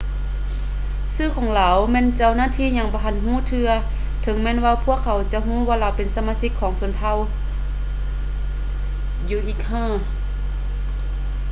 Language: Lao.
ຊື່ຂອງລາວແມ່ນເຈົ້າໜ້າທີ່ຍັງບໍ່ທັນຮູ້ເທື່ອ ເຖິງແມ່ນວ່າພວກເຂົາຈະຮູ້ວ່າລາວເປັນສະມາຊິກຂອງຊົນເຜົ່າ uighur